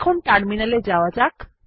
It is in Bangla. এখন টার্মিনাল এ যাওয়া যাক